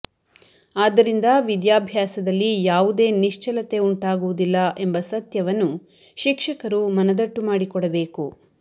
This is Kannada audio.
ಆದ್ದರಿಂದ ವಿದ್ಯಾಭ್ಯಾಸದಲ್ಲಿ ಯಾವುದೇ ನಿಶ್ಚಲತೆ ಉಂಟಾಗುವುದಿಲ್ಲ ಎಂಬ ಸತ್ಯವನ್ನು ಶಿಕ್ಷಕರು ಮನದಟ್ಟು ಮಾಡಿಕೊಡಬೇಕು